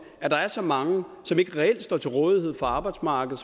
at der er så mange på som ikke reelt står til rådighed for arbejdsmarkedet